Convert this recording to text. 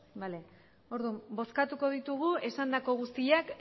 bale orduan bozkatuko ditugu esandako guztiak